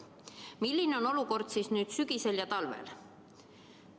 Milline on olukord siis nüüd, sügisel ja talvel?